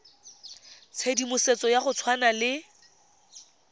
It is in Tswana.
tshedimosetso ya go tshwana le